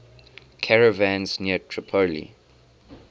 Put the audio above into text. caravans near tripoli